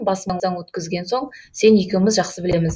басымыздан өткізген соң сен екеуміз жақсы білеміз